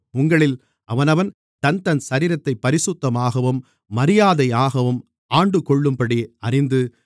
உங்களில் அவனவன் தன்தன் சரீரத்தைப் பரிசுத்தமாகவும் மரியாதையாகவும் ஆண்டுகொள்ளும்படி அறிந்து